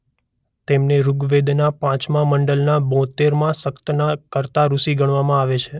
તેમને ઋગ્વેદના પાંચમા મંડલના બોતેરમા સક્તના કર્તા ઋષિ ગણવામાં આવે છે.